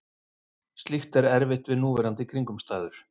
Slíkt er erfitt við núverandi kringumstæður.